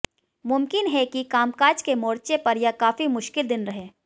मुमकिन है कि कामकाज के मोर्चे पर यह काफ़ी मुश्किल दिन रहे